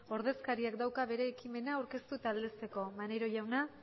ordezkariak dauka bere ekimena aurkeztu eta aldezteko maneiro jauna